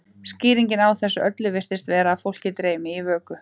skýringin á þessu öllu virðist vera að fólk dreymi í vöku